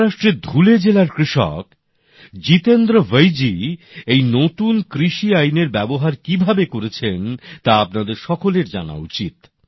মহারাষ্ট্রের ধুলে জেলার কৃষক জিতেন্দ্র ভৈজী এই নতুন কৃষি আইনের ব্যবহার কিভাবে করেছেন তা আপনাদের সকলের জানা উচিত